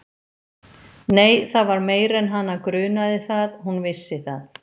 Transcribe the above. Nei, það var meira en hana grunaði það: hún vissi það.